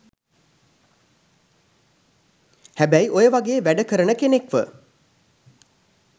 හැබැයි ඔය වගෙ වැඩ කරන කෙනෙක්ව